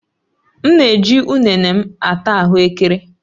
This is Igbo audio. M na-eji ụnene m ata ahuekere